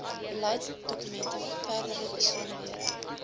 beleidsdokumente verdere besonderhede